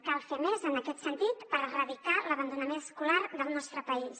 cal fer més en aquest sentit per erradicar l’abandonament escolar del nostre país